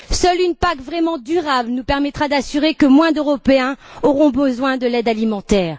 Seule une PAC vraiment durable nous permettra d'assurer que moins d'Européens auront besoin de l'aide alimentaire.